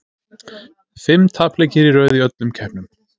Fimm tapleikir í röð í öllum keppnum.